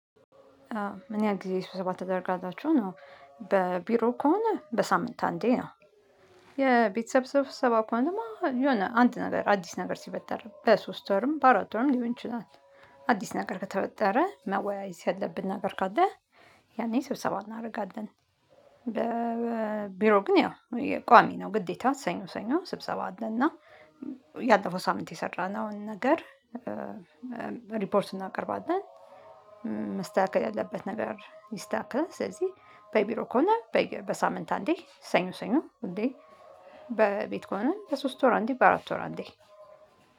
ምን ያህል ጊዜ ስብሰባ ታደርጋላችሁ ነው? በቢሮ ከሆነ በሳምንት አንዴ ነው። የቤተሰብ ሰብሰባ ከሆነማ የሆነ አንድ ነገር አዲስ ነገር ሲፈጠርም በሶስት ወርም በአራት ወርም ሊሆን ይችላል። አዲስ ነገር ከተፈጠረ መወያየት ያለብን ነገር ካለ ያኔ ስብሰባ እናደርጋለን። በ ቢሮ ግን ያው የ ቋሚ ነው። ግዴታ ሰኞ ሰኞ ስብሰባ አለ። እና ያለፈው ሳምንት የሠራነውን ነገር ሪፖርት እናቀርባለን። መስተካከል ያለበት ነገር ይስተካከል። ስለዚህ በቢሮ ከሆነ በሳምንት አንዴ ሰኞ ሰኞ ሁሌ። በቤት ከሆነ በሶስት ወር አንዴ በአራት ወር አንዴ።